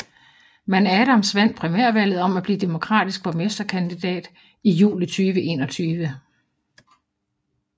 Men Adams vandt primærvalget om at blive demokratisk borgmesterkandidat i juli 2021